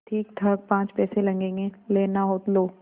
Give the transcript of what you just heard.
ठीकठाक पाँच पैसे लगेंगे लेना हो लो